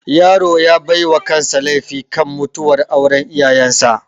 Yaro ya baiwa kansa laifi kan mutuwar auran iyayan sa